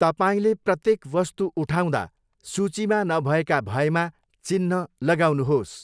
तपाईँले प्रत्येक वस्तु उठाउँदा, सूचीमा नभएका भएमा चिन्ह लगाउनुहोस्।